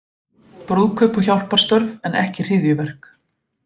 Brúðkaup og hjálparstörf en ekki hryðjuverk